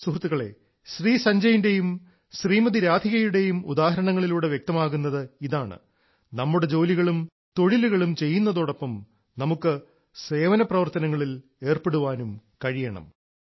സുഹൃത്തുക്കളെ ശ്രീ സഞ്ജയിന്റെയും ശ്രീമതി രാധികയുടെയും ഉദാഹരണങ്ങളിലൂടെ വ്യക്തമാകുന്നത് ഇതാണ് നമ്മുടെ ജോലികളും തൊഴിലുകളും ചെയ്യുന്നതോടൊപ്പം നമുക്ക് സേവനപ്രവർത്തനങ്ങളിൽ ഏർപ്പെടാനും കഴിയണം